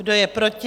Kdo je proti?